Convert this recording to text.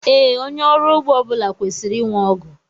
Ee, onye ọrụ ugbo ọbula kwesịrị ịnwe ọgụ